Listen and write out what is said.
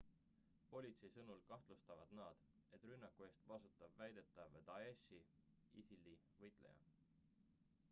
politsei sõnul kahtlustavad nad et rünnaku eest vastutab väidetav daeshi isil-i võitleja